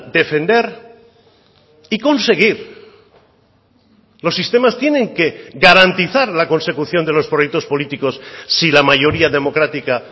defender y conseguir los sistemas tienen que garantizar la consecución de los proyectos políticos si la mayoría democrática